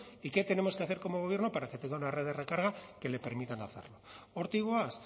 y qué tenemos que hacer como gobierno para que tenga una red de recarga que le permitan hacerlo hortik goaz